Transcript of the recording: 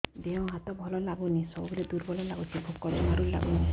ଦେହ ହାତ ଭଲ ଲାଗୁନି ସବୁବେଳେ ଦୁର୍ବଳ ଲାଗୁଛି ଭୋକ ଜମାରୁ ଲାଗୁନି